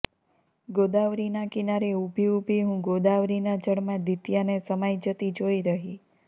ગોદાવરીના કિનારે ઊભી ઊભી હું ગોદાવરીના જળમાં દિત્યાને સમાઈ જતી જોઈ રહી